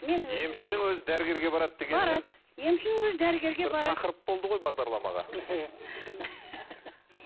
емшінің өзі дәрігерге барады дегеніңіз емшінің өзі дәрігерге барады бір тақырып болды ғой бағдарламаға